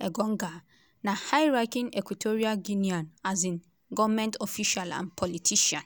engonga na high-ranking equatorial guinean um goment official and politician.